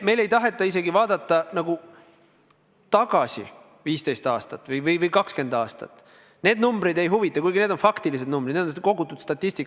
Meil ei taheta isegi vaadata tagasi 15 aastat või 20 aastat, need numbrid ei huvita, kuigi need on faktilised numbrid, need on kogutud statistika.